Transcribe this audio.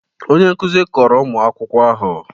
Onye nkuzi kọrọ ụmụ akwụkwọ ahụ